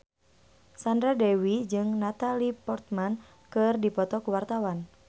Sandra Dewi jeung Natalie Portman keur dipoto ku wartawan